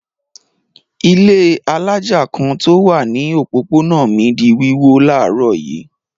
Ilé alájà kan tí ó wà ní òpópónà mi di wíwó láàárọ̀ yìí.